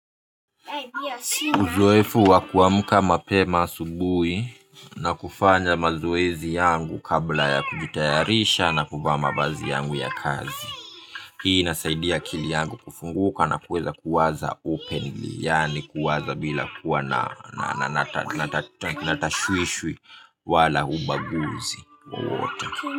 Uzoefu wa kuamka mapema asubuhi na kufanya mazoezi yangu kabla ya kujitayarisha na kuvaa mavazi yangu ya kazi. Hii inasaidia akili yangu kufunguka na kuweza kuwaza openly. Yaani kuwaza bila kuwa na natashwishwi wala ubaguzi.